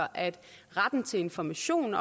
retten til information